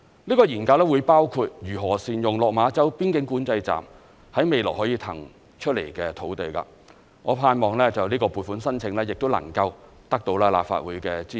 這項研究會包括如何善用落馬洲邊境管制站在未來可以騰出來的土地，我盼望這項撥款申請亦能夠得到立法會的支持。